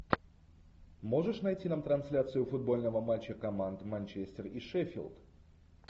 можешь найти нам трансляцию футбольного матча команд манчестер и шеффилд